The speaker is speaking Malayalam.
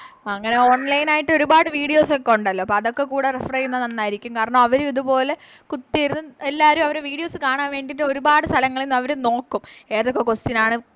അങ്ങനെ Online ആയിട്ട് ഒരുപാട് Videos ഒക്കെ ഒണ്ടല്ലോ അപ്പൊ അതൊക്കെക്കൂടെ Refer ചെയ്യുന്നത് നന്നാരിക്കും കാരണം അവരും ഇതുപോലെ കുത്തിയിരുന്ന് എല്ലാരും അവരെ Videos കാണാൻ വേണ്ടിട്ട് ഒരുപാട് സ്ഥലങ്ങളിന്ന് അവര് നോക്കും ഏതൊക്കെ Question ആണ്